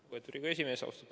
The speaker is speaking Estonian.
Lugupeetud Riigikogu esimees!